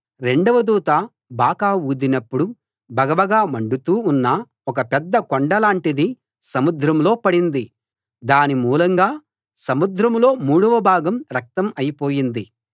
రెండవ దూత బాకా ఊదినప్పుడు భగభగ మండుతూ ఉన్న ఒక పెద్ద కొండ లాంటిది సముద్రంలో పడింది దాని మూలంగా సముద్రంలో మూడవ భాగం రక్తం అయిపోయింది